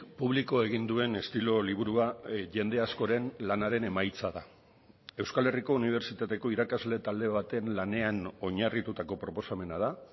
publiko egin duen estilo liburua jende askoren lanaren emaitza da euskal herriko unibertsitateko irakasle talde baten lanean oinarritutako proposamena da